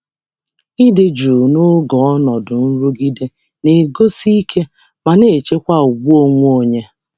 Ịnọgide na-enwe jụụ n’oge ọnọdụ nwere nchekasị na-egosi ike ma na-echekwa ugwu onwe onye.